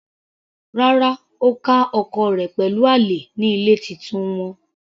Rárá, Ó ká ọkọ rẹ̀ pẹ̀lú àlè ní ilé titun wọn.